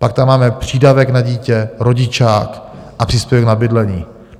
Pak tam máme přídavek na dítě, rodičák a příspěvek na bydlení.